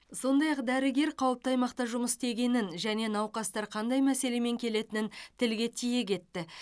сондай ақ дәрігер қауіпті аймақта жұмыс істегенін және науқастар қандай мәселемен келетінін тілге тиек етті